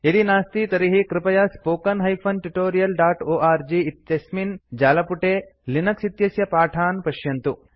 यदि नास्ति तर्हि कृपया spoken tutorialओर्ग इत्यस्मिन् जालपुटे लिनक्स् इत्यस्य पाठान् पश्यन्तु